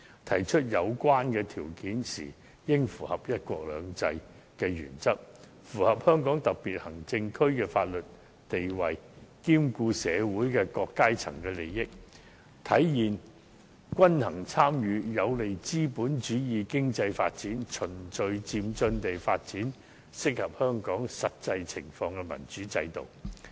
提出有關條件時，應符合"一國兩制"的原則和香港特別行政區的法律地位，同時兼顧社會各階層的利益，體現均衡參與，有利資本主義經濟發展，循序漸進地發展適合香港實際情況的民主制度。